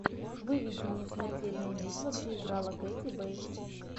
выведи мне смертельная битва где играла кэти бейтс